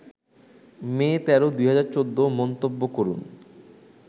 মে ১৩, ২০১৪ মন্তব্য করুন